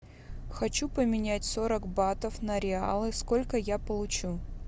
хочу поменять сорок батов на реалы сколько я получу